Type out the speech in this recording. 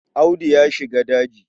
Audu ya shiga daji.